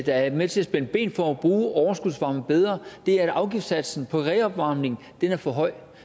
der er med til at spænde ben for at bruge overskudsvarmen bedre er at afgiftssatsen på reopvarmning er for høj